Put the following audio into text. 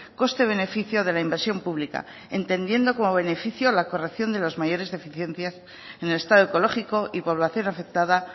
coste beneficio de la inversión pública entendiendo como beneficio la corrección de las mayores deficiencias en el estado ecológico y población afectada